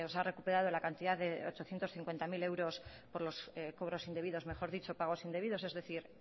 ha recuperado la cantidad de ochocientos cincuenta mil euros por los cobros indebidos mejor dicho pagos indebidos es decir